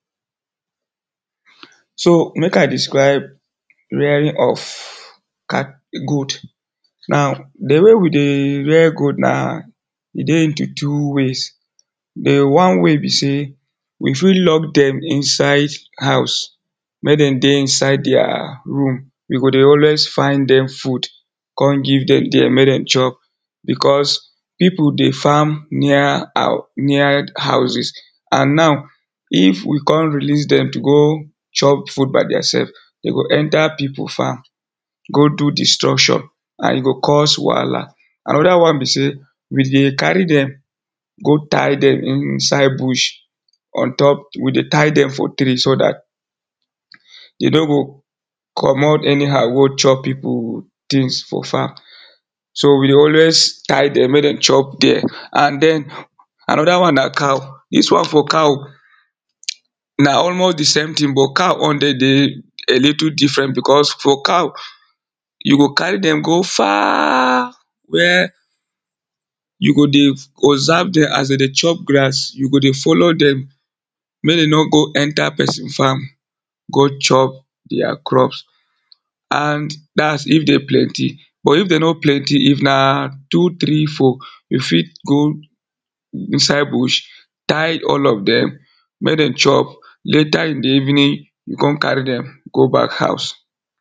so mek i describe rearing of goat now the way we dey rear goat na e dey in the two ways the one wey be sey we fi lock dem inside house mek dem dey inside their room we go dey always find dem food con give dem dere mek dem chop because pipu dey farm near hou near houses and now if we con release dem go chop food by deir sef dem go enter pipu farm go do destruction and e go cause wahala. another one be sey, we dey carry dem go tie dem inside bush on top, we dey tie dem for tree so dat, dey no go, comot any how go chop pipu things for farm so we dey always tie dem mek dem chop dere, and den another one na cow, dis one for cow, na almost the same thing but cow own de dey a little different, because for cow, you go carry dem go far where you go dey you go dey observe dem as dem dey chop grass, you go dey follow dem mek dem no go enter person farm go chop deir crops. and dats if dem plenty but if dem no plenty if na two, three, four, you fit go inside bush tie all of dem mek dem chop later in the evening you go con carry dem go back house.